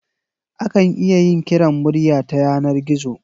Akan iya yin kiran murya ta yanar gizo